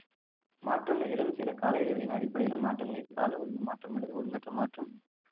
மாற்றம் நிகழும் சில கால இடைவெளிகளின் அடிப்படையில மாற்றங்களை கால ஒழுங்கு மாற்றம் அல்லது ஒழுங்கற்ற மாற்றம்